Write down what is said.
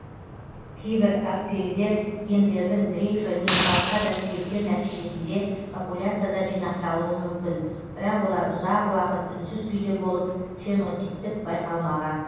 кейбір аллельдер гендердің дрейфі не басқа да себептер нәтижесінде популяцияда жинақталуы мүмкін бірақ олар ұзақ уақыт үнсіз күйде болып фенотиптік байқалмаған